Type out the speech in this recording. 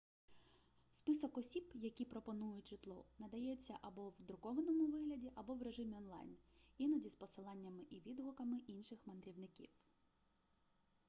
список осіб які пропонують житло надається або в друкованому вигляді або в режимі онлайн іноді з посиланнями і відгуками інших мандрівників